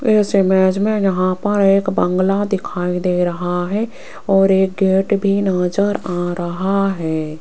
इस इमेज में यहां पर एक बंगला दिखाई दे रहा है और एक गेट भी नजर आ रहा है।